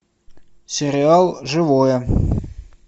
сериал живое